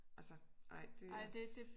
Altså ej det